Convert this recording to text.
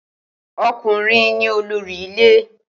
O̩kùnrin ni olórí ilé